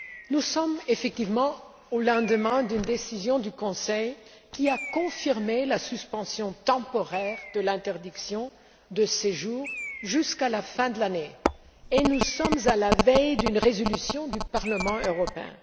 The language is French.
Nous sommes en effet au lendemain d'une décision du Conseil qui a confirmé la suspension temporaire de l'interdiction de séjour jusqu'à la fin de l'année et nous sommes à la veille de l'adoption d'une résolution par le Parlement européen.